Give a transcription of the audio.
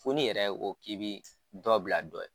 Fo n'i yɛrɛ o k'i bɛ dɔ bila dɔ ye